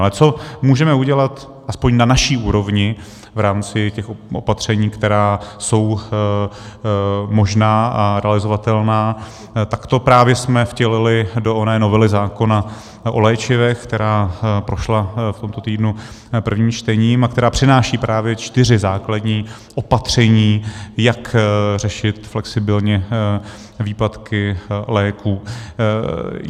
Ale co můžeme udělat aspoň na naší úrovni v rámci těch opatření, která jsou možná a realizovatelná, tak to právě jsme vtělili do oné novely zákona o léčivech, která prošla v tomto týdnu prvním čtením a která přináší právě čtyři základní opatření, jak řešit flexibilně výpadky léků.